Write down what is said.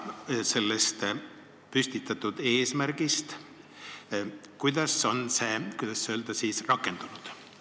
Ja sellest püstitatud eesmärgist, kuidas on see, kuidas öelda siis, rakendunud?